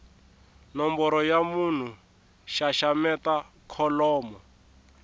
nomboro ya munhu xaxameta kholomo